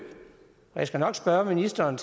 og jeg skal nok spørge ministeren